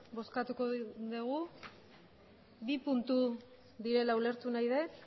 bozkatuko dugu bi puntu direla ulertu nahi dut